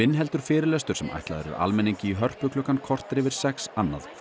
heldur fyrirlestur sem ætlaður er almenningi í Hörpu klukkan korter yfir sex annað kvöld